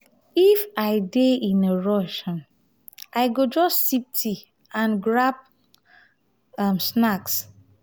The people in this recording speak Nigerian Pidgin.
if i dey in a rush um i go just sip tea and grab um snack.